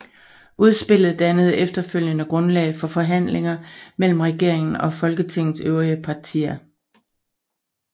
Udspillet dannede efterfølgende grundlag for forhandlinger mellem regeringen og Folketingets øvrige partier